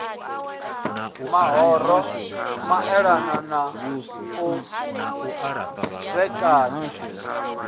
mahoro maelana na u vhekanywa